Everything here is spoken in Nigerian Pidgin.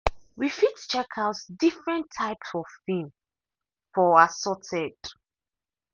we fit check out different type of film for assorted.